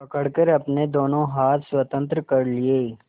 पकड़कर अपने दोनों हाथ स्वतंत्र कर लिए